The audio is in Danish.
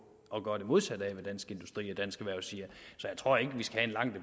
at gøre det modsatte af hvad dansk industri og dansk erhverv siger så jeg tror ikke